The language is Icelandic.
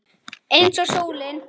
Eins og sólin.